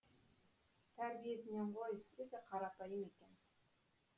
тәрбиесінен ғой өте қарапайым екен